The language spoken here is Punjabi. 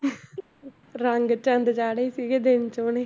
ਰੰਗ ਚੰਦ ਚਾੜੇ ਸੀਗੇ ਦਿਨ 'ਚ ਉਹਨੇ